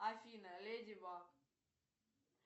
афина леди баг